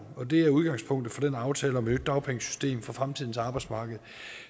og det er udgangspunktet for den aftale om et nyt dagpengesystem for fremtidens arbejdsmarked